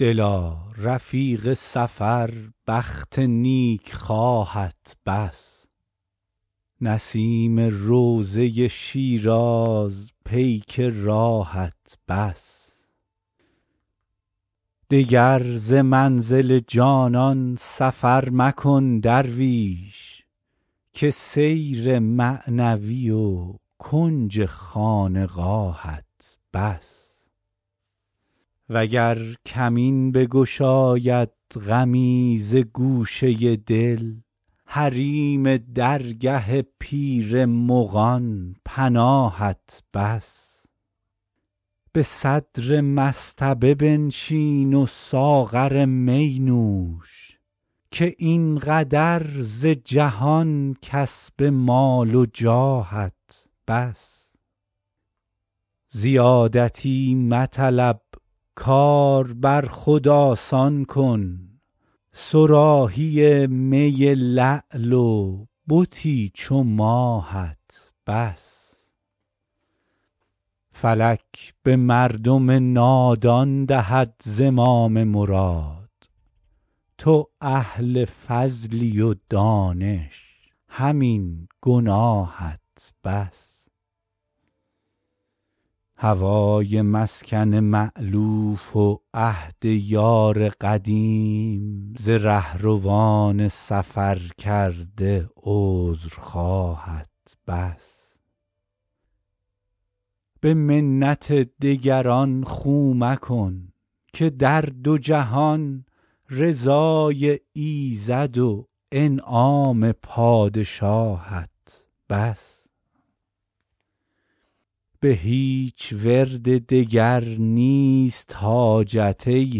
دلا رفیق سفر بخت نیکخواهت بس نسیم روضه شیراز پیک راهت بس دگر ز منزل جانان سفر مکن درویش که سیر معنوی و کنج خانقاهت بس وگر کمین بگشاید غمی ز گوشه دل حریم درگه پیر مغان پناهت بس به صدر مصطبه بنشین و ساغر می نوش که این قدر ز جهان کسب مال و جاهت بس زیادتی مطلب کار بر خود آسان کن صراحی می لعل و بتی چو ماهت بس فلک به مردم نادان دهد زمام مراد تو اهل فضلی و دانش همین گناهت بس هوای مسکن مألوف و عهد یار قدیم ز رهروان سفرکرده عذرخواهت بس به منت دگران خو مکن که در دو جهان رضای ایزد و انعام پادشاهت بس به هیچ ورد دگر نیست حاجت ای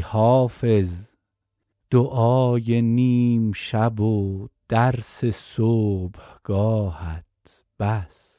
حافظ دعای نیم شب و درس صبحگاهت بس